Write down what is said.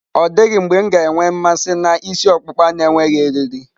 Ọ dịghị mgbe m ga-enwe mmasị na ịsị okupka na-enweghị eriri.